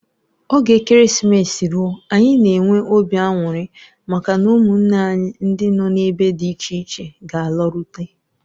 Oge Ekeresimesi ruo anyị n'enwe obi anwụrị maka na ụmụnne anyi ndị nọ n'ebe di iche iche g'alarute.